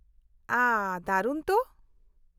-ᱳᱦᱚ, ᱫᱟᱨᱩᱱ ᱛᱚ !